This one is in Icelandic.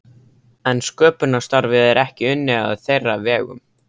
En sköpunarstarfið er ekki unnið á þeirra vegum.